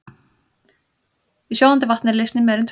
Í sjóðandi vatni er leysnin meira en tvöföld.